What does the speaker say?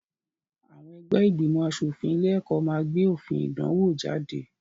Àwọn ẹgbẹ́ ìgbìmọ̀-aṣòfin ilé-ẹ̀kọ́ máa gbé òfin ìdánwò jáde.